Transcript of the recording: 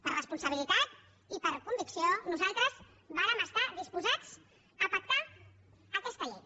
per responsabilitat i per convicció nosaltres vàrem estar disposats a pactar aquesta llei